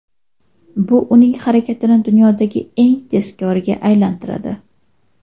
Bu uning harakatini dunyodagi eng tezkoriga aylantiradi.